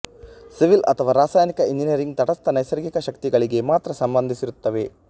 civil ಅಥವಾ ರಾಸಾಯನಿಕ engineering ತಟಸ್ಥ ನೈಸರ್ಗಿಕ ಶಕ್ತಿಗಳಿಗೆ ಮಾತ್ರ ಸಂಬಂಧಿಸಿರುತ್ತವೆ